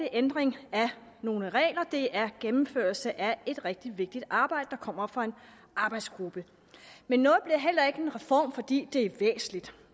ændring af nogle regler det er gennemførelse af et rigtig vigtigt arbejde der kommer fra en arbejdsgruppe men noget bliver heller ikke en reform fordi det er væsentligt